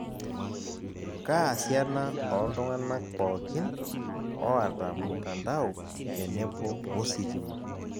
Kaa siana ooltung'anak pookin oota mtandao tenebo wositima?